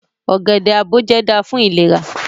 Ogede-aboje da fun ilera